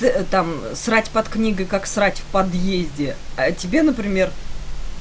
там срать под книгой как срать в подъезде а тебе например